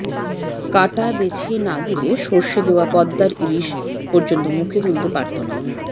কাঁটা বেছে না দিলে সরষে দেয়া পদ্মার ইলিশ পর্যন্ত মুখে তুলতে পারতো না